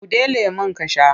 Buɗe lemon ka sha!